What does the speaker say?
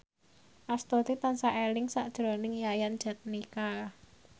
Astuti tansah eling sakjroning Yayan Jatnika